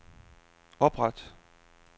opret